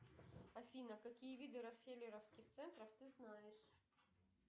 афина какие виды рокфеллеровских центров ты знаешь